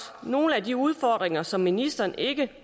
nogle af de udfordringer som ministeren